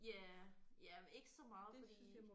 Ja ja ikke så meget fordi